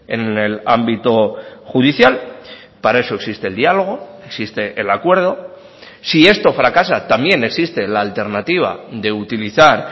en el ámbito judicial para eso existe el diálogo existe el acuerdo si esto fracasa también existe la alternativa de utilizar